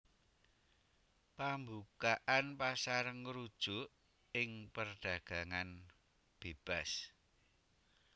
Pambukaan pasar ngrujuk ing perdagangan bébas